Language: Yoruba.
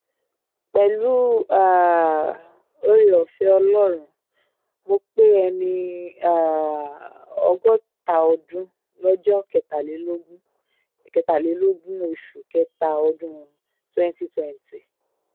pẹ̀lú um oore-ọ̀fẹ́ ọlọ́run mọ̀ pé ẹni um ọgọ́ta ọdún lọ́jọ́ kẹtàlélógún kẹtàlélógún oṣù kẹta ọdún twenty twenty